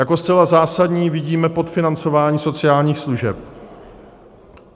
Jako zcela zásadní vidíme podfinancování sociálních služeb.